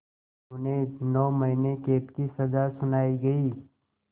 उन्हें नौ महीने क़ैद की सज़ा सुनाई गई